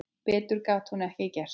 Betur gat hún ekki gert.